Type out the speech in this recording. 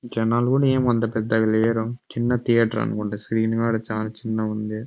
జనల కూడా అంత పెద్దగా లేరు చిన్న థియేటర్ అనుకుంట స్క్రీన్ చాల చిన్న గ ఉంది.